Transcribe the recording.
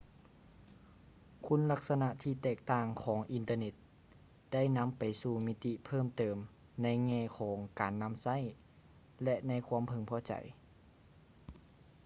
ຄຸນລັກສະນະທີ່ແຕກຕ່າງຂອງອິນເຕີເນັດໄດ້ນຳໄປສູ່ມິຕິເພີ່ມເຕີມໃນແງ່ຂອງການນຳໃຊ້ ແລະ ໃນຄວາມເພິ່ງພໍໃຈ